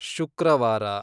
ಶುಕ್ರವಾರ